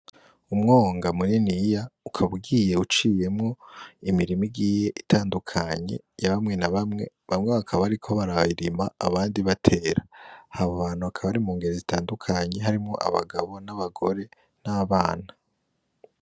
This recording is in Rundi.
Umwonga mininiya ukaba ugiye iciyemwo imirima igiye itandukanye ya bamwe na bamwe bamwe bakaba bariko barayirima abandi batera abo bantu bakaba bari mu ngero zitandukanye harimwo abagabo, abagore, n'abana.